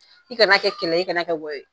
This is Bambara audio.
I kan'a kɛ kɛnɛ, i kan'a kɛ wɔyɔ ye.